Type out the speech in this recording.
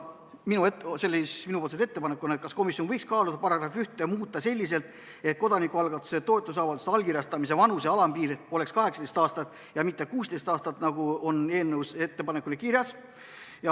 Minu ettepanek oli, et komisjon võiks kaaluda § 1 muutmist selliselt, et kodanikualgatuse ja toetusavalduste allkirjastamise vanuse alampiir oleks 18 aastat ja mitte 16 aastat, nagu on eelnõus ettepanekuna kirjas.